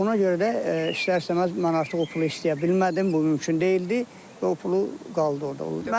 Ona görə də istər-istəməz mən artıq o pulu istəyə bilmədim, bu mümkün deyildi və o pulu qaldı orda.